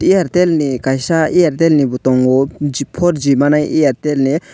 airtel ni kaisa airtel ni bo tongo four ji manai airtel ni.